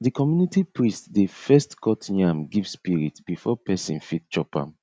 the community priest dey first cut yam give spirit before person fit chop am